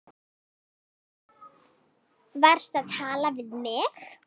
Varstu að tala við mig?